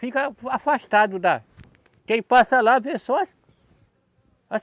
Fica afastado da. Quem passa lá vê só as, as